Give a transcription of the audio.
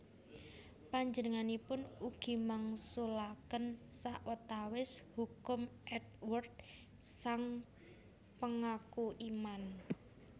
Panjenenganipun ugi mangsulaken sawetawis hukum Eadweard sang Pengaku Iman